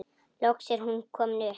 Loks er hún komin upp.